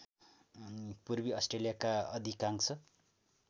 पूर्वी अस्ट्रेलियाको अधिकांश